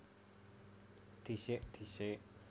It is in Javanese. Dhisik disék